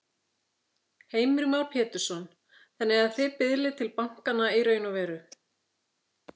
Heimir Már Pétursson: Þannig að þið biðlið til bankanna í raun og veru?